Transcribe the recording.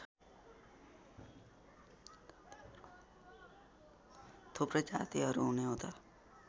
थुप्रै जातिहरू हुनेहुँदा